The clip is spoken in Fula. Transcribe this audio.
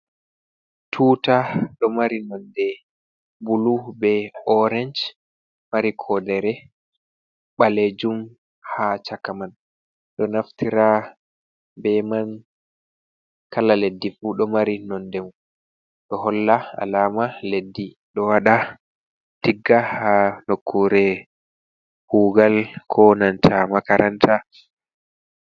Tuta ɗo mari nonde bulu be orange. Mari kodere balejum ha chaka man, ɗo naftira be man kala leddi fu do mari nonde mun . Ɗo holla alama leddi, ɗo waɗa tigga ha nokkure kugal ko nanta makaranta.